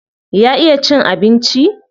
Ya iya cin abinci?